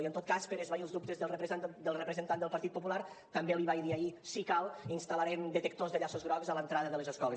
i en tot cas per esvair els dubtes del representant del partit popular també l’hi vaig dir ahir si cal instal·larem detectors de llaços grocs a l’entrada de les escoles